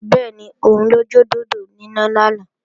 Bẹ́ẹ̀ni, òun lọ jọ dòdò níná lánàá